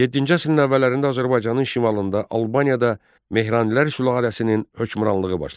Yeddinci əsrin əvvəllərində Azərbaycanın şimalında, Albaniyada Mehranilər sülaləsinin hökmranlığı başladı.